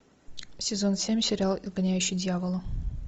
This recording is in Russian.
сезон семь сериал изгоняющий дьявола